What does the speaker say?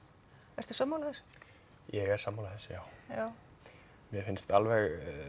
ertu sammála þessu ég er sammála þessu já já mér finnst alveg